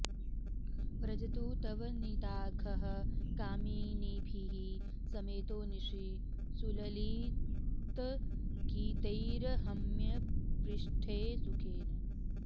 व्रजतु तव निदाघः कामिनीभिः समेतो निशि सुललितगीतैर्हर्म्यपृष्ठे सुखेन